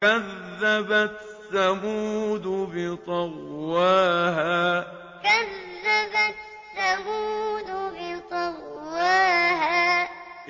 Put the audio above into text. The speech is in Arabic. كَذَّبَتْ ثَمُودُ بِطَغْوَاهَا كَذَّبَتْ ثَمُودُ بِطَغْوَاهَا